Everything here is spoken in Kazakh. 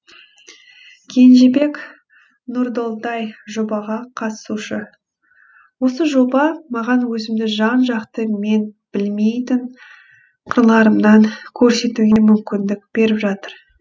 кенжебек нұрдолдай жобаға қатысушы осы жоба маған өзімді жан жақты мен білмейтін қырларымнан көрсетуге мүмкіндік беріп жатыр